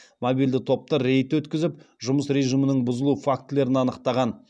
мобильді топтар рейд өткізіп жұмыс режимінің бұзылу фактілерін анықтаған